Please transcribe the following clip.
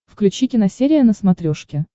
включи киносерия на смотрешке